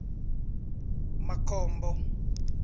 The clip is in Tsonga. makhombo